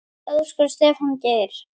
Elsku Stefán Geir.